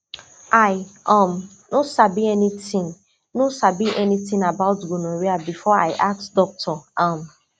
i um no sabi anything no sabi anything about gonorrhea before i ask doctor um